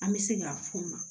An bɛ se k'a f'u ma